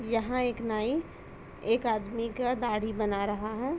यहाँ एक नाई एक आदमी का दाढ़ी बना रहा है।